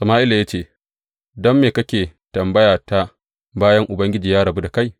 Sama’ila ya ce, Don me kake tambayata bayan Ubangiji ya rabu da kai?